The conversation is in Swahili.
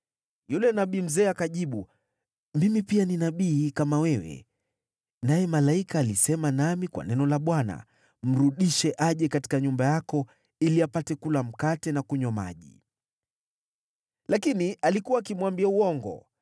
Yule nabii mzee akajibu, “Mimi pia ni nabii, kama wewe. Naye malaika alisema nami kwa neno la Bwana : ‘Mrudishe aje katika nyumba yako ili apate kula mkate na kunywa maji.’ ” (Lakini alikuwa akimwambia uongo.)